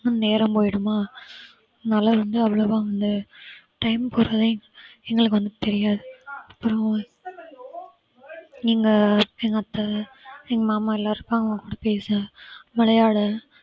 நேரம் போயிடுமா அதனால வந்து அவ்வளவா வந்து time போறதே எங்களுக்கு வந்து தெரியாது அப்புறம் நீங்க எங்க அத்தை எங்க மாமா எல்லாம் இருப்பாங்க பேச விளையாட